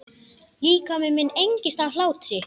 Líkami minn engist af hlátri.